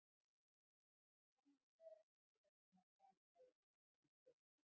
Sannarlega eftirtektarverð framkoma hjá stelpunum þremur!